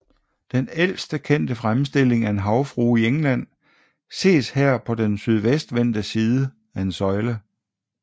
Den ældste kendte fremstilling af en havfrue i England ses her på den sydvendte side af en søjle